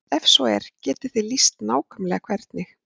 Ef svo er, getið þið lýst nákvæmlega hvernig?